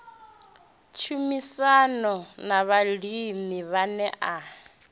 tshumisano na vhalimi vhane a